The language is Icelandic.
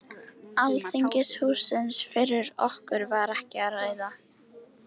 Alþingishússins fyrir okkur var ekki að ræða.